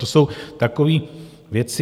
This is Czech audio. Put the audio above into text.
To jsou takové věci...